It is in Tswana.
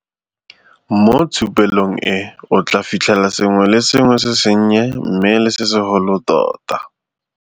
Mo tshupelong e o tlaa fitlhela sengwe le sengwe se sennye mme le se segolo tota.